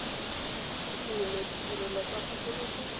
mene ya ditirelo tsa tsosoloso